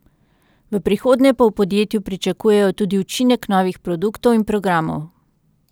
V prihodnje pa v podjetju pričakujejo tudi učinek novih produktov in programov.